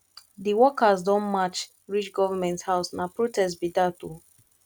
di workers don march reach government house na protest be dat o